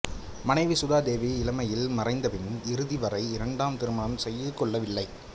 மனைவி சுதா தேவி இளமையில் மறைந்தபின் இறுதி வரை இரண்டாம் திருமணம் செய்து கொள்ளவில்லை